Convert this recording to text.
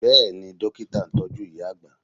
Bẹ́ẹ̀ni, Dókítà ń tọ́jú ìyá àgbà